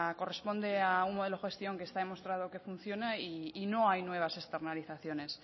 corresponde a un modelo de gestión que está demostrado que funciona y no hay nuevas externalizaciones